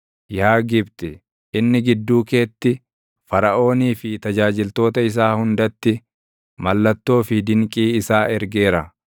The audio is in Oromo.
Yaa Gibxi, inni gidduu keetti, Faraʼoonii fi tajaajiltoota isaa hundatti mallattoo fi dinqii isaa ergeera.